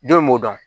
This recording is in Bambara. Don in m'o dɔn